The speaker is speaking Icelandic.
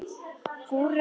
Júra er kantóna í Sviss.